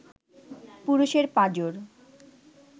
পুরুষের পাঁজর